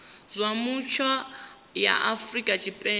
zwa mutsho ya afrika tshipembe